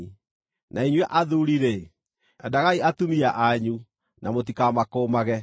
Na inyuĩ athuuri-rĩ, endagai atumia anyu na mũtikamakũũmage.